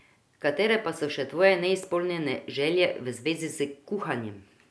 Katere pa so še tvoje neizpolnjene želje v zvezi s kuhanjem?